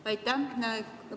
Aitäh!